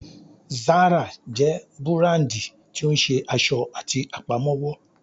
Zara jẹ́ búràndì tí ó ń ṣe aṣọ àti Àpámọ́wọ́